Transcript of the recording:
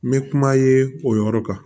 N bɛ kuma ye o yɔrɔ kan